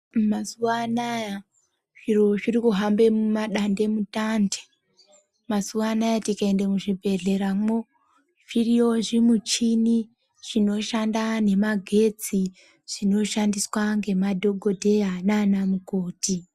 Mazuwa anaya zviro zviri kuhambe mumadandemutande . Mazuwa anaya tikaendamo muzvibhedhleyamo zvirimo zvimichini zvinoshanda nemagetsi zvinoshandiswa ngemadhokoteya nana mukoti